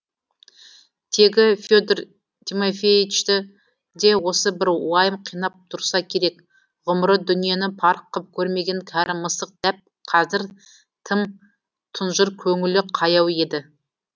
тегі федор тимофеичті де осы бір уайым қинап тұрса керек ғұмыры дүниені парық қып көрмеген кәрі мысық дәп қазір тым тұнжыр көңілі қаяу еді